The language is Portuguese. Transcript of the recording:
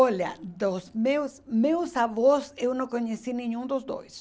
Olha, dos meus meus avós, eu não conheci nenhum dos dois.